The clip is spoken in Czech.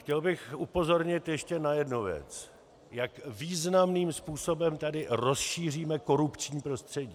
Chtěl bych upozornit ještě na jednu věc, jak významným způsobem tady rozšíříme korupční prostředí.